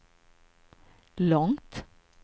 långt